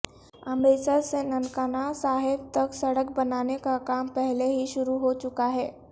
امرتسر سے ننکانہ صاحب تک سڑک بنانے کا کام پہلے ہی شروع ہو چکا ہے